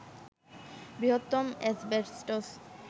বৃহত্তম অ্যাসবেস্টস